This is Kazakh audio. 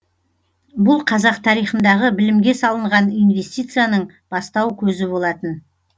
бұл қазақ тарихындағы білімге салынған инвестицияның бастау көзі болатын